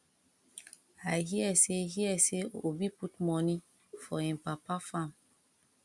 i hear say hear say obi put money for im papa farm